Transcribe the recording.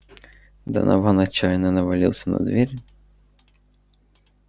донован отчаянно навалился на дверь